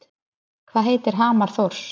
Hvað heitir hamar Þórs?